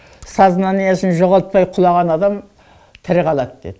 сознаниесін жоғалтпай құлаған адам тірі қалады деді